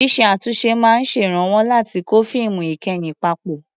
Ṣíṣe àtúnṣe máa ń ṣèrànwọ́ láti kó fíìmù ìkẹyìn papọ̀.